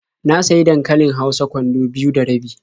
Na sayi dankalin hausa kwando biyu da rabi.